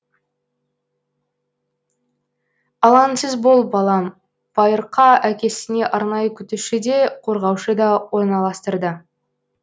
алаңсыз бол балам байырқа әкесіне арнайы күтуші де қорғаушы да орналастырды